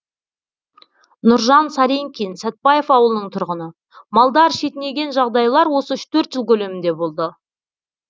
нұржан саринкин сәтбаев ауылының тұрғыны малдар шетінеген жағдайлар осы үш төрт жыл көлемінде болды